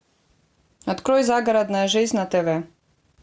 открой загородная жизнь на тв